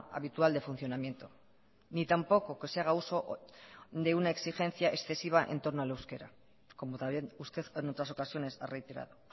habitual de funcionamiento ni tampoco que se haga uso de una exigencia excesiva en torno al euskera como también usted en otras ocasiones ha reiterado